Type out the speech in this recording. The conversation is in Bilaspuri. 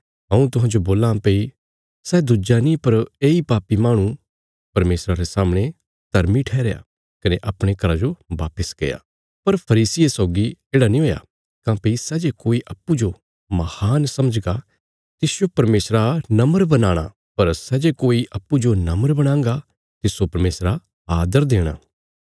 हऊँ तुहांजो बोल्लां भई सै दुज्जा नीं पर येई पापी माहणु परमेशरा रे सामणे धर्मी ठैहरया कने अपणे घरा जो वापस गया पर फरीसिये सौगी येढ़ा नीं हुया काँह्भई सै जे कोई अप्पूँजो महान समझगा तिसजो परमेशरा नम्र बनाणा पर सै जे कोई अप्पूँजो नम्र बणांगा तिस्सो परमेशरा आदर देणा